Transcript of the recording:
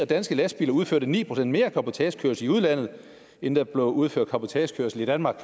danske lastbiler udførte ni procent mere cabotagekørsel i udlandet end der blev udført cabotagekørsel i danmark